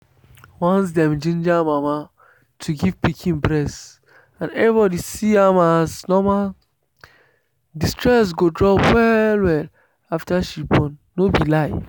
once dem ginger mama to give pikin breast and everybody see am as normal the stress go drop well-well after she born. no be lie.